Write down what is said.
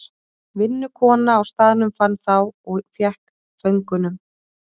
Vinnukona á staðnum fann þá og fékk föngunum.